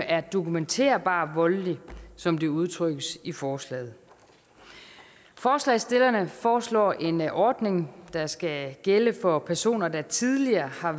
er dokumenterbart voldelig som det udtrykkes i forslaget forslagsstillerne foreslår en ordning der skal gælde for personer der tidligere har